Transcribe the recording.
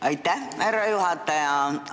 Aitäh, härra juhataja!